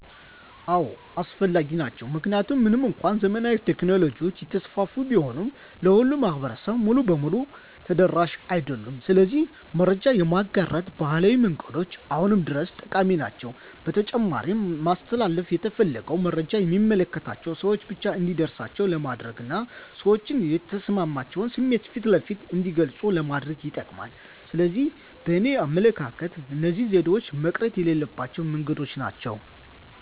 አዎ አስፈላጊ ናቸው። ምክንያቱም ምንም እንኳን ዘመናዊ ቴክኖሎጂዎች እየተስፋፉ ቢሆንም ለሁሉም ማህበረሰብ ሙሉ በሙሉ ተደራሽ አይደሉም። ስለዚህ መረጃ የማጋራት ባህላዊ መንገዶች አሁንም ድረስ ጠቃሚ ናቸው። በተጨማሪም ማስተላለፍ የተፈለገውን መረጃ የሚመለከታቸው ሰወች ብቻ እንዲደርሳቸው ለማድረግና ሰዎች የተሰማቸውን ስሜት ፊት ለፊት እንዲገልጹ ለማድረግ ይጠቅማል። ስለዚህ በእኔ አመለካከት እነዚህ ዘዴዎች መቅረት የሌለባቸው መንገዶች ናቸው።